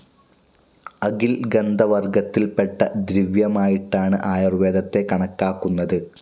അകിൽ ഗന്ധവർഗ്ഗത്തിൽപെട്ട ദ്രവ്യമായിട്ടാണ് ആയുർവേദത്തെ കണക്കാക്കുന്നത്.